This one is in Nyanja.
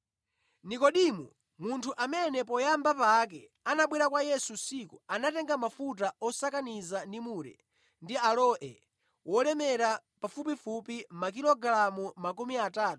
Nekodimo, munthu amene poyamba pake anabwera kwa Yesu usiku, anatenga mafuta osakaniza ndi mure ndi aloe wolemera pafupifupi makilogalamu 32.